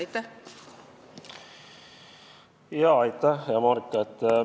Aitäh, hea Marika!